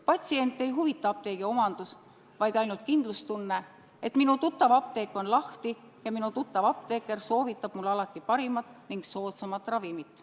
Patsiente ei huvita apteegi omandus, vaid ainult kindlustunne, et minu tuttav apteek on lahti ja minu tuttav apteeker soovitab mulle alati parimat ning soodsamat ravimit.